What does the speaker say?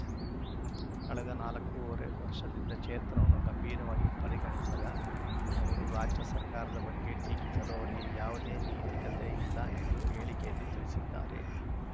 ಕಳೆದ ನಾಲ್ಕೂವರೆ ವರ್ಷದಿಂದ ಕ್ಷೇತ್ರವನ್ನು ಗಂಭೀರವಾಗಿ ಪರಿಗಣಿಸದ ಅವರು ರಾಜ್ಯ ಸರ್ಕಾರದ ಬಗ್ಗೆ ಟೀಕಿಸಲು ಅವರಿಗೆ ಯಾವುದೇ ನೈತಿಕತೆ ಇಲ್ಲ ಎಂದು ಹೇಳಿಕೆಯಲ್ಲಿ ತಿಳಿಸಿದ್ದಾರೆ